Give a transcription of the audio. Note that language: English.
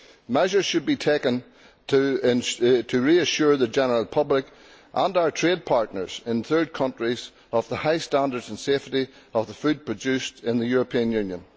Measures should be taken to reassure the general public and our trade partners in third countries of the high standards and safety of the food produced in the European Union.